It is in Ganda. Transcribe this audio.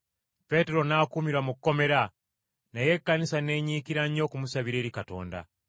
Peetero n’akuumirwa mu kkomera, naye Ekkanisa n’enyiikira nnyo okumusabira eri Katonda.